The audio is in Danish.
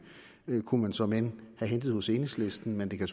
kunne man såmænd have hentet hos enhedslisten men det kan